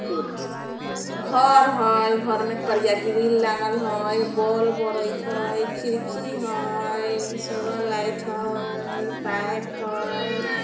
घर हेय घर मे करिया ग्रिल लागल हेय बोल बरेत हेय खिड़की हेय सोलर लाइट हेय पाइप हेय।